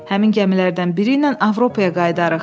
Həmin gəmilərdən biri ilə Avropaya qayıdarıq.